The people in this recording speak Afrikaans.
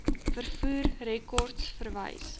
vervoer rekords verwys